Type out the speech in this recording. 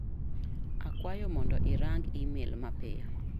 Akwayo mondo irang' imel mapiyo.